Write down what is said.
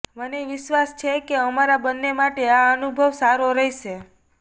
મને વિશ્વાસ છે કે અમારા બંને માટે આ અનુભવ સારો રહેશે